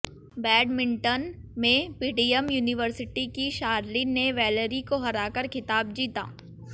badminton में PDM university की शारलिन ने वैलरी को हराकर खिताब जीता